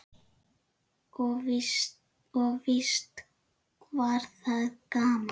Og víst var það gaman.